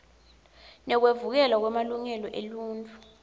nekuvikelwa kwemalungelo eluntfu